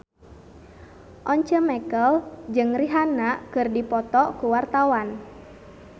Once Mekel jeung Rihanna keur dipoto ku wartawan